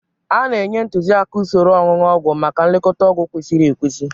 A na-enye ntuziaka usoro onunu ogwu maka nlekọta ọgwụ kwesịrị ekwesị.